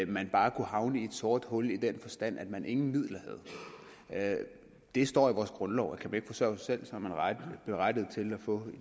man bare kunne havne i et sort hul i den forstand at man ingen midler havde det står i vores grundlov at kan man ikke sig selv er man berettiget til at få